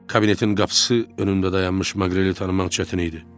Kabinetin qapısı önündə dayanmış Maqreli tanımaq çətin idi.